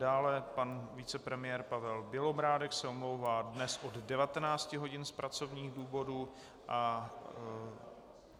Dále pan vicepremiér Pavel Bělobrádek se omlouvá dnes od 19 hodin z pracovních důvodů.